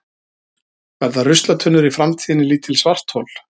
verða ruslatunnur í framtíðinni lítil svarthol